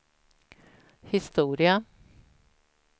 historia